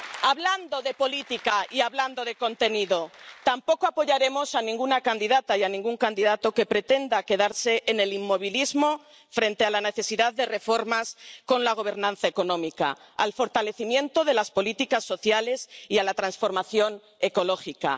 Hablando de política, y hablando de contenido, tampoco apoyaremos a ninguna candidata y a ningún candidato que pretenda quedarse en el inmovilismo frente a la necesidad de reformas con la gobernanza económica, de fortalecimiento de las políticas sociales y de transformación ecológica.